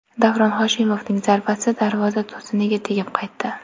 Davron Hoshimovning zarbasi darvoza to‘siniga tegib qaytdi.